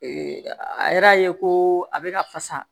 Ee a yɛrɛ ye ko a bɛ ka fasa